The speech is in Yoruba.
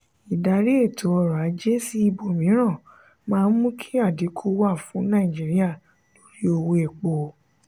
ìdarí ètò orò-ajé sí ibòmíràn máa mú kí adínkú wà fún nàìjíríà lórí owó èpo.